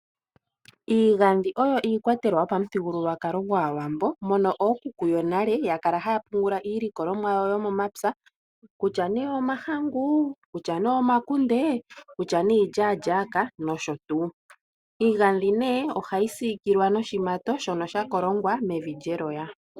Iigadhi oyo iikwatelwa yopamuthigululwakalo gwAawambo mono ookuku yonale yakala haa pungula iilikolomwa yao yomomapya kutya nee omahangu, kutya nee omakunde, kutya nee iilyaalyaka nosho tuu. Iigadhi ohayi siikilwa noshimato shono sha kolongwa nevi lyeloya.